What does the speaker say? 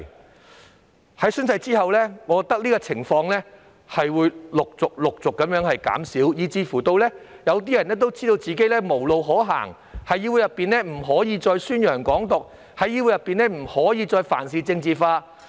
我認為在實施宣誓規定之後，這種情況會逐漸減少，有些人甚至已經知道自己無路可走，不能再在議會內宣揚"港獨"，亦不可再事事政治化。